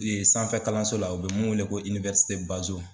sanfɛ kalanso la u bɛ min wele ko Bazo.